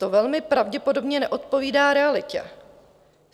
To velmi pravděpodobně neodpovídá realitě.